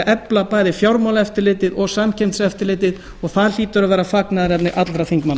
efla bæði fjármálaeftirlitið og samkeppniseftirlitið og það hlýtur að vera fagnaðarefni allra þingmanna